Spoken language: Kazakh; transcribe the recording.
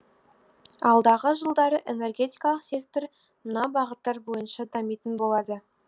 алдағы жылдары энергетикалық сектор мына бағыттар бойынша дамитын болады